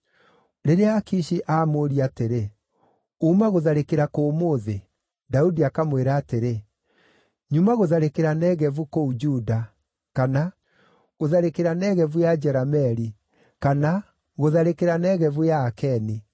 Rĩrĩa Akishi aamũũria atĩrĩ, “Uuma gũtharĩkĩra kũ ũmũthĩ?” Daudi akamwĩra atĩrĩ, “Nyuma gũtharĩkĩra Negevu kũu Juda,” kana “Gũtharĩkĩra Negevu ya Jerameeli,” kana “Gũtharĩkĩra Negevu ya Akeni.”